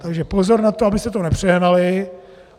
Takže pozor na to, abyste to nepřehnali.